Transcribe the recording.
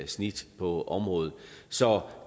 snit på området så